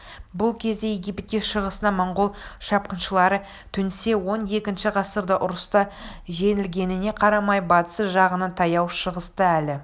бұл кезде египетке шығысынан монғол шапқыншылары төнсе он екінші ғасырда ұрыста жеңілгеніне қарамай батыс жағынан таяу шығысты әлі